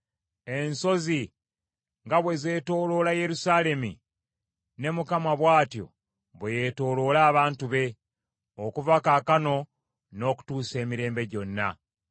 Ensozi nga bwe zeetooloola Yerusaalemi, ne Mukama bw’atyo bwe yeetooloola abantu be, okuva kaakano n’okutuusa emirembe gyonna.